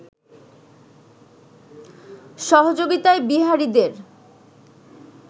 সহযোগিতায় বিহারীদের